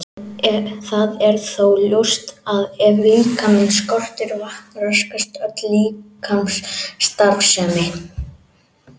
Það er þó ljóst að ef líkamann skortir vatn raskast öll líkamsstarfsemi.